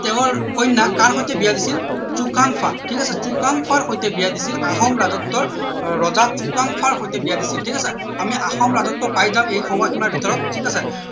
তেওঁৰ কন্যাক কাৰ সৈতে বিয়া দিছিল চুকাম্ফাৰ ঠিক আছে চুকাম্ফাৰ সৈতে বিয়া দিছিল আহোম ৰাজত্বৰ ৰজা চুকাম্ফাৰ সৈতে বিয়া দিছিল ঠিক আছে আমি আহোম ৰাজত্ব পাই যাম এই সময় সীমাৰ ভিতৰত ঠিক আছে